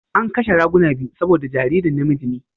An kashe raguna biyu saboda jaririn namiji ne.